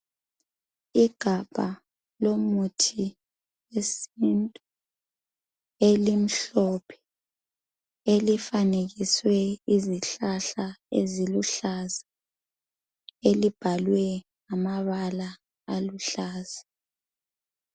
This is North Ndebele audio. Igabha lomuthi wesintu elimhlophe, elifanekiswe izihlahla eziluhlaza elibhalwe ngamabala aluhlaza.